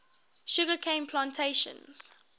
sugar cane plantations